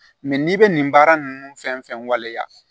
Mɛ n'i bɛ nin baara ninnu fɛn fɛn waleya